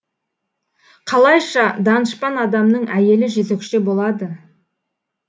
қалайша данышпан адамның әйелі жезөкше болады